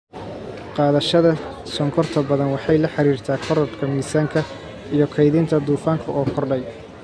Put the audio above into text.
Qaadashada sonkorta badan waxay la xiriirtaa korodhka miisaanka iyo kaydinta dufanka oo kordhay,